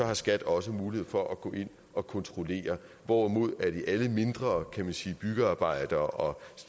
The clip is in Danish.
har skat også mulighed for at gå ind og kontrollere hvorimod skat ved alle mindre byggearbejder og